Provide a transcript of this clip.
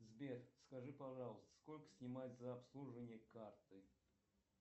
сбер скажи пожалуйста сколько снимают за обслуживание карты